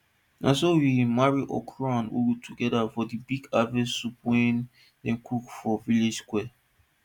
na so we marry okro and ugu together for di big harvest soup wey dem cook for village square